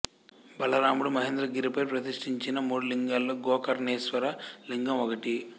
బలరాముడు మహేంద్రగిరిపై ప్రతిష్ఠించిన మూడు లింగాలలో గోకర్ణేశ్వర లింగం ఒకటి